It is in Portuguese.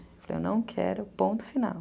Falei, eu não quero, ponto final.